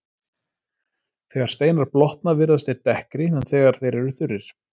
Þegar steinar blotna virðast þeir dekkri en þegar þeir eru þurrir.